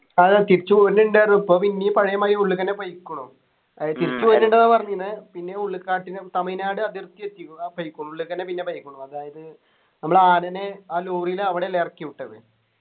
അതാ തിരിച്ചു പോരുന്നുണ്ടാർന്നു ഇപ്പൊ പിന്നിം പഴേ മാതിരി ഉള്ള്ക്ക് എന്നെ പോയിക്കുണു അത് തിരിച്ചു പോയിട്ടുണ്ടോ പറയുന്നു പിന്നെയോ ഉൾക്കാട്ടിലും തമിഴ്‌നാട് അതിർത്തി എത്തിക്കുണു ഉള്ളിലേക്കെന്നെ പിന്നെ പൊയിക്ക്ണു അതായത് നമ്മള് ആനനെ ആ ലോറിയിൽ അവിടെയല്ലേ ഇറക്കി വിട്ടത്